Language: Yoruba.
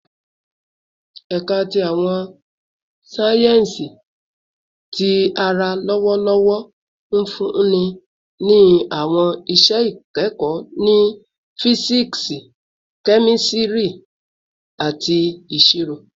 Ẹka ti Awọn sáyẹnsì Ti ara lọwọlọwọ nfunni ni awọn iṣẹ ikẹkọ ni Fisiksi, Kemistri, ati Iṣiro